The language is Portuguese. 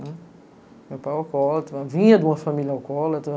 Meu pai é alcoólatra, vinha de uma família alcoólatra.